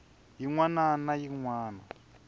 yin wana na yin wana